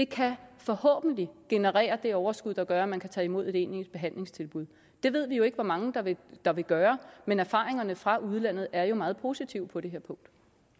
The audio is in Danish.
kan forhåbentlig generere det overskud der gør at man kan tage imod et egentligt behandlingstilbud det ved vi jo ikke hvor mange der vil der vil gøre men erfaringerne fra udlandet er jo meget positive på det her punkt